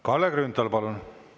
Kalle Grünthal, palun!